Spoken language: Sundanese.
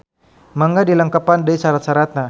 Mangga dilengkepan deui sarat-saratna